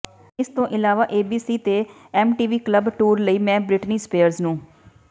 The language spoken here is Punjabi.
ਇਸਤੋਂ ਇਲਾਵਾ ਏਬੀਸੀ ਤੇ ਐਮਟੀਵੀ ਕਲੱਬ ਟੂਰ ਲਈ ਮੈਂ ਬ੍ਰਿਟਨੀ ਸਪੀਅਰਜ਼ ਨੂੰ